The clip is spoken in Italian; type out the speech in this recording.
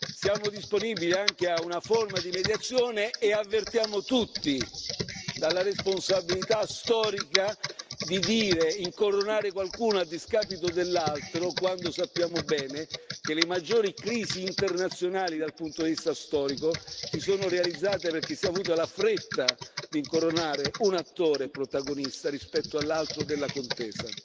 siamo disponibili anche a una forma di mediazione e ammoniamo tutti dalla responsabilità storica di incoronare qualcuno a discapito dell'altro, quando sappiamo bene che le maggiori crisi internazionali, dal punto di vista storico, si sono verificate perché si è avuta la fretta di incoronare un attore protagonista rispetto all'altro nella contesa.